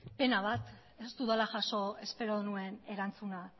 pena bat ez dudala jaso espero nuen erantzuna